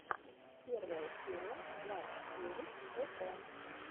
первая серия влад девять вэтэ